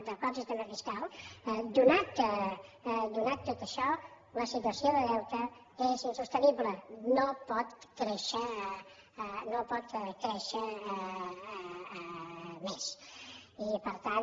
de l’actual sistema fiscal donat tot això la situació de deute és insostenible no pot créixer no pot créixer més i per tant